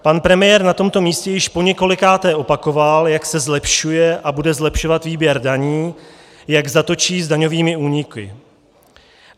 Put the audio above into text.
Pan premiér na tomto místě již poněkolikáté opakoval, jak se zlepšuje a bude zlepšovat výběr daní, jak zatočí s daňovými úniky.